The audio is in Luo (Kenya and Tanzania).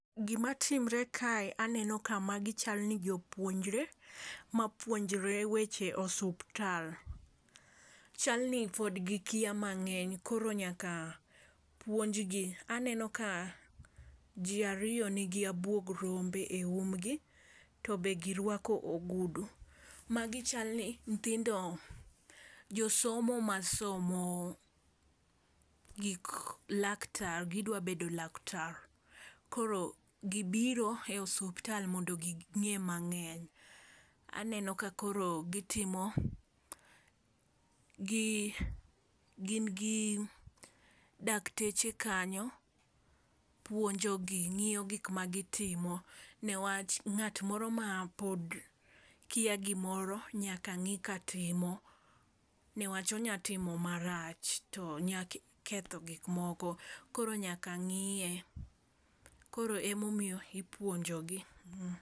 Gimatimre kae aneno ka magi chalni jopuonjre mapuonjre weche osuptal. Chalni pod gikia mang'eny koro nyaka puonj gi. Aneno ka jii ariyo nigi abuog rombe e um gi to be girwako ogudu. Magi chalni nyithindo josomo masomo gik laktar gidwa bedo laktar koro gibiro e osiptal mondo ging'e mang'eny. Aneno ka koro gitimo gi gin gi dakteche kanyo puonjo gi ngiyo gik ma gitimo newach ng'at moro ma pod kia gimoro nyaka ng'i katimo niwach onya timo marach to nya ketho gik moko koro nyaka ng'iye koro emomiyo ipuonjo gi.